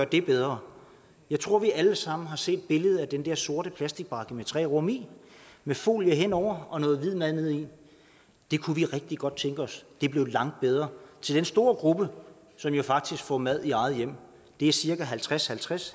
det bedre jeg tror vi alle sammen har set billedet af den der sorte plastikbakke med tre rum i med folie henover og noget hvid mad nede i det kunne vi rigtig godt tænke os blev langt bedre til den store gruppe som jo faktisk får mad i eget hjem det er cirka halvtreds halvtreds